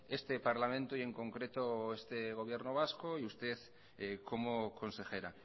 este parlamento y en concreto este gobierno vasco y usted como consejera